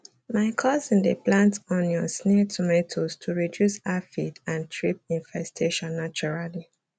my cousin dey plant onions near tomatoes to reduce aphid and thrip infestation naturally